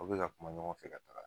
Aw be ka kuma ɲɔgɔn fɛ ka taga